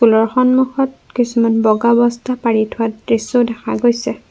School ৰ সন্মুখত কিছুমান বগা বস্তাও পাৰি থোৱা দৃশ্য দেখা গৈছে।